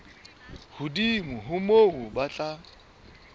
hodimo ho moo ba tla